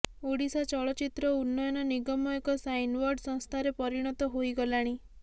ଓଡ଼ିଶା ଚଳଚ୍ଚିତ୍ର ଉନ୍ନୟନ ନିଗମ ଏକ ସାଇନ୍ବୋର୍ଡ ସଂସ୍ଥାରେ ପରିଣତ ହୋଇଗଲାଣି